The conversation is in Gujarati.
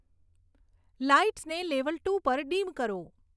લાઈટ્સને લેવલ ટુ પર ડીમ કરો